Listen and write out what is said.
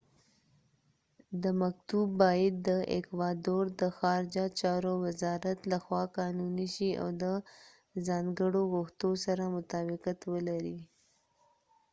دا مکتوب باید د ایکوادور د خارجه چارو وزارت له خوا قانونی شي او د ځانګړو غوښتنو سره مطابقت ولري